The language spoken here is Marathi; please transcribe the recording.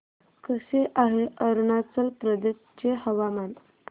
कसे आहे अरुणाचल प्रदेश चे हवामान